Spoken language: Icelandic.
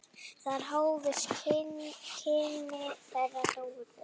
Þar hófust kynni þeirra Dóru.